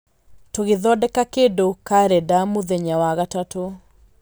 tũgĩthondeka kĩndũ karenda mũthenya wa gatatũ.